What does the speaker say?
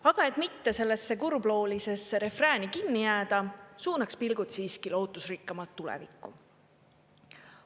Aga et mitte sellesse kurbloolisesse refrääni kinni jääda, suunaks pilgud siiski lootusrikkamalt tulevikku.